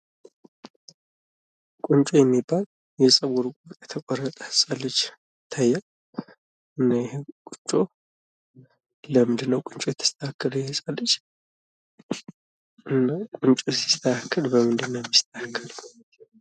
ቁንጮ የሚባል የጸጉር ቁርጥ የተቆረጠ ህጻን ልጅ ይታያል። እና ይሄ ቁንጮ ለምንድን ነው ቁንጮ የተስተካከለው ይሄ ህጻን ልጅ? ቁንጮ ሲስተካከል በምንድን ነው የተስተካከው?